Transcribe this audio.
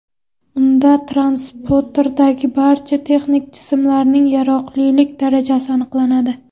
Unda transportdagi barcha texnik jismlarning yaroqlilik darajasi aniqlanadi.